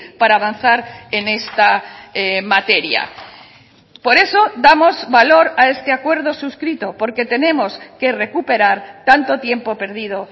para avanzar en esta materia por eso damos valor a este acuerdo suscrito porque tenemos que recuperar tanto tiempo perdido